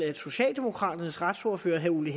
socialdemokraternes retsordfører herre ole